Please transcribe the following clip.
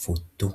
futu.